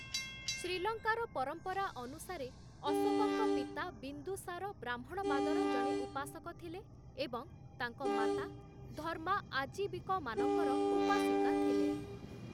ଶ୍ରୀଲଙ୍କାର ପରମ୍ପରା ଅନୁସାରେ, ଅଶୋକଙ୍କ ପିତା ବିନ୍ଦୁସାର ବ୍ରାହ୍ମଣବାଦର ଜଣେ ଉପାସକ ଥିଲେ ଏବଂ ତାଙ୍କ ମାତା ଧର୍ମା ଆଜୀବିକମାନଙ୍କର ଉପାସିକା ଥିଲେ ।